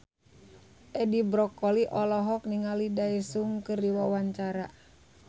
Edi Brokoli olohok ningali Daesung keur diwawancara